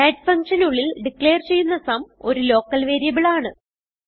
add functionനുള്ളിൽ declare ചെയ്യുന്ന sum ഒരു ലോക്കൽ വേരിയബിൾ ആണ്